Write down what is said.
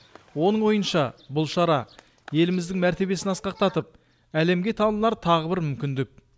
оның ойынша бұл шара еліміздің мәртебесін асқақтатып әлемге танылар тағы бір мүмкіндік